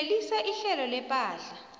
phelisa ihlelo lepahla